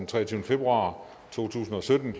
tak til herre